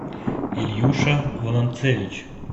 ильюша волонцевич